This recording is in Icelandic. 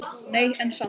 Nei, en samt.